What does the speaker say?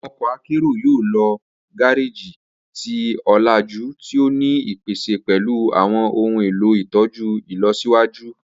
Awọn ọkọ akero yoo lo gareji ti olaju ti o ni ipese pẹlu awọn ohun elo itọju ilọsiwaju.